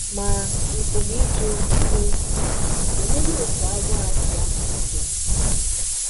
Ma, ị pụrụ ịjụ, sị, ‘ Oleedị otú agụụ a si amalite? ’